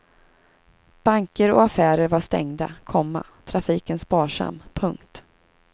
Banker och affärer var stängda, komma trafiken sparsam. punkt